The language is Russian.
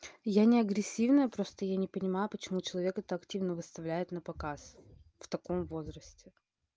я не агрессивная просто я не понимаю почему человек это активно выставляет напоказ в таком возрасте